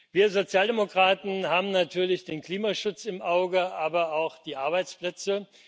Wir Sozialdemokraten haben natürlich den Klimaschutz im Auge, aber auch die Arbeitsplätze.